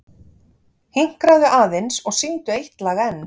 Hinkraðu aðeins og syngdu eitt lag enn.